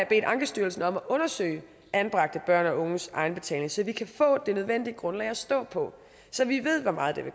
bedt ankestyrelsen om at undersøge anbragte børn og unges egenbetaling så vi kan få det nødvendige grundlag at stå på så vi ved hvor meget